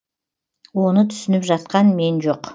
оны түсініп жатқан мен жоқ